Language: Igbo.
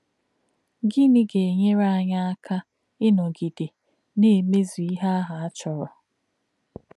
Gịnị̄ gā̄-ènyèrè̄ ànyí̄ ákà̄ ínọ̄gị̀dè̄ nā̄-èmē̄zù̄ íhè̄ āhū̄ ā̄ chọ̄rọ̀?